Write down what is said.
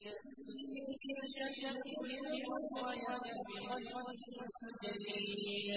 إِن يَشَأْ يُذْهِبْكُمْ وَيَأْتِ بِخَلْقٍ جَدِيدٍ